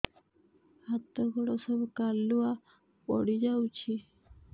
ହାତ ଗୋଡ ସବୁ କାଲୁଆ ପଡି ଯାଉଛି